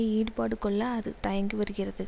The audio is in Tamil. ஈடுபாடு கொள்ள அது தயங்கி வருகிறது